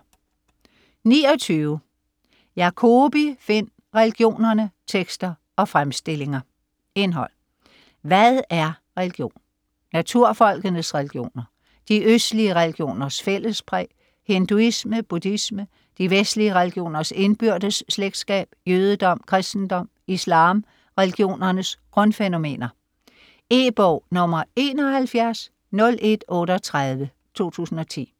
29 Jacobi, Finn: Religionerne: tekster og fremstillinger Indhold: Hvad er religion?; Naturfolkenes religioner; De østlige religioners fællespræg; Hinduisme; Buddhisme; De vestlige religioners indbyrdes slægtskab; Jødedom; Kristendom; Islam; Religionernes grundfænomener. E-bog 710138 2010.